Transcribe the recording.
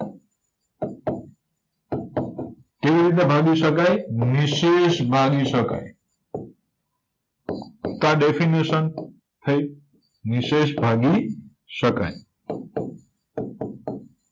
કેવીરીતના ભાગી શકાય નિહ્સેશ ભાગી શકાય તો આ ડેફીનેસન થય નિહ્સેશ ભાગી શકાય